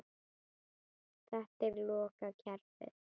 Þetta er lokað kerfi.